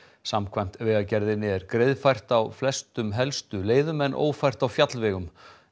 samkvæmt Vegagerðinni er greiðfært á flestum helstu leiðum en ófært á fjallvegum